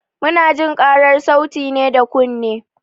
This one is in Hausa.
Munajin ƙarar sauti ne da kunne.